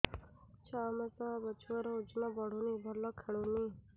ଛଅ ମାସ ହବ ଛୁଆର ଓଜନ ବଢୁନି ଭଲ ଖେଳୁନି